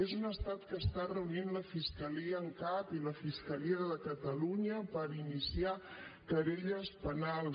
és un estat que està reunint la fiscalia en cap i la fiscalia de catalunya per iniciar querelles penals